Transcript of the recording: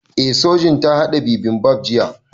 Eh Sojin ta haɗa bibimbap jiya